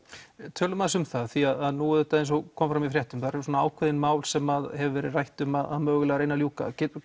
tölum aðeins um það því nú eins og kom fram í fréttum eru ákveðin mál sem hefur verið rætt um að reyna að ljúka getur